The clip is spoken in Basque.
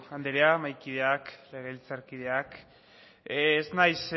andrea mahaikideak legebiltzarkideak ez naiz